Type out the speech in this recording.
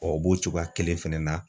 Ɔ o b'o cogoya kelen fɛnɛ na